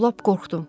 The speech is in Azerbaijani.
Lap qorxdum.